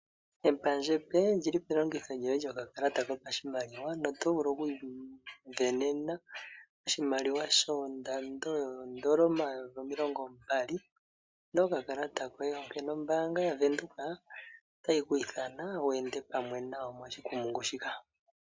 Epandja epe lyili pelingitho lyokakalata kopashimaliwa, oto vulu kuvena oshimaliwa shondando yoondola omayovi omilongo mbali, nokakalata koye ano ombaanga yaVenduka otayi kwiithana, wu ende pamwe nayo moshikumungu shika.